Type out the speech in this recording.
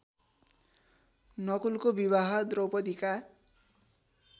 नकुलको विवाह द्रौपदीका